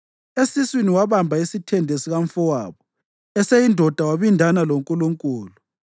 Esiswini wabamba isithende sikamfowabo; eseyindoda wabindana loNkulunkulu.